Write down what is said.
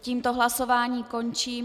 Tímto hlasování končím.